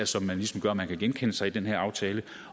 som ligesom gør at man kan genkende sig selv i den her aftale